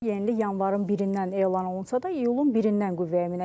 Yenilik yanvarın 1-dən elan olunsa da, iyulun 1-dən qüvvəyə minəcək.